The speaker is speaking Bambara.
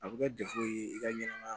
A bɛ kɛ ye i ka ɲɛnɛmaya